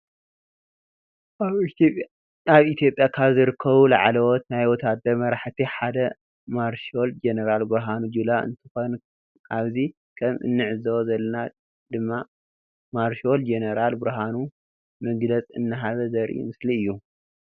አብ ኢትዮጲያ ካብ ዝርከቡ ላዕለወት ናይ ወታደር መራሕቲ ሓደ ማርሻል ጀነራል ብርሃኑ ጆላ እንትኮን አብዚ ከም እንዕዘቦ ዘለና ድማ ማርሻል ጀነራል ብርሃኑ መግለፅ እናሃበ ዘሪኢ ምስሊ እዮ።